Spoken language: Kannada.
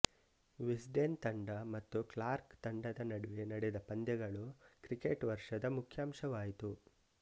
ವಿಸ್ಡೆನ್ ತಂಡ ಮತ್ತು ಕ್ಲಾರ್ಕ್ ತಂಡದ ನಡುವೆ ನಡೆದ ಪಂದ್ಯಗಳು ಕ್ರಿಕೆಟ್ ವರ್ಷದ ಮುಖ್ಯಾಂಶವಾಯಿತು